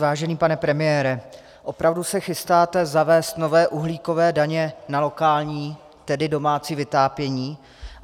Vážený pane premiére, opravdu se chystáte zavést nové uhlíkové daně na lokální, tedy domácí vytápění?